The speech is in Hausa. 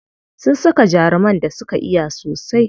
Sun saka jaruman da suka iya sosai.